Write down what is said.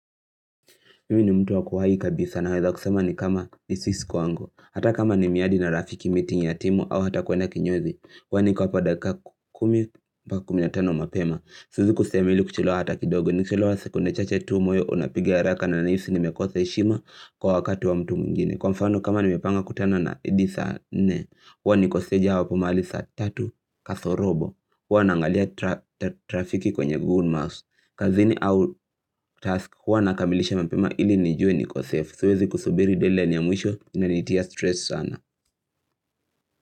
Mimi ni mtu wa kuwai kabisa naweza kusema ni kama disease kwangu. Hata kama ni miradi na rafiki, meeting ya timu au hata kuenda kinyozi. Huwa niko hapo dakika kumi mpaka kumi na tano mapema. Siwezi kusema ili kuchelewa hata kidogo. Nikichelewa sekunde chache tu, moyo unapiga haraka na ninahisi nimekosa heshima kwa wakati wa mtu mwingine. Kwa mfano kama nimepanga kukutana na edi saa nne. Wani niko steji hapo mahali saa tatu kasorobo. Hana naangalia trafiki kwenye Google Maps. Kazini au task huwa nakamilisha mapema ili nijue niko safe. Siwezi kusubiri dateline ya mwisho inanitia stress sana.